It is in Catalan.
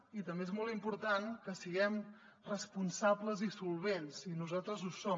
i també és molt important que siguem responsables i solvents i nosaltres ho som